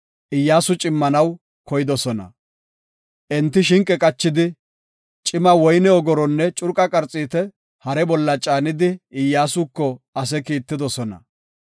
Iyyasu cimmanaw koydosona. Enti shinqe qachidi, cima woyne ogoronne curqa qarxiita hare bolla caanidi, Iyyasuko ase kiittidosona.